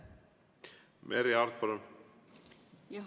Merry Aart, palun!